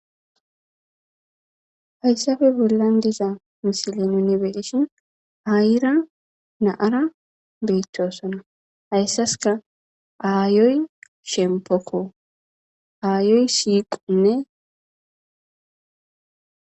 hayssabe bollan diza misilen yunibeeshon ayira naara beettosona hayssaska aayoy shempokko aayoy siiqonne